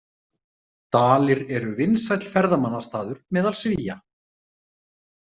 Dalir eru vinsæll ferðamannastaður meðal Svía.